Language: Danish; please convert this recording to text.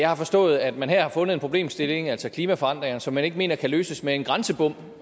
har forstået at man her har fundet en problemstilling altså klimaforandringerne som man ikke mener kan løses med en grænsebom